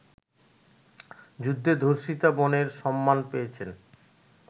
যুদ্ধে ধর্ষিতা বোনের ‘সম্মান’ পেয়েছেন